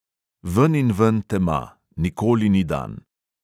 Veninven tema, nikoli ni dan.